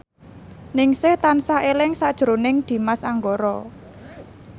Ningsih tansah eling sakjroning Dimas Anggara